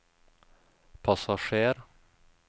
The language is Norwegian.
passasjer